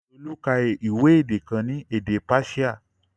Olu ka ìwé èdè kan ní èdè Páṣíà